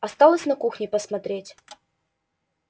осталось на кухне посмотреть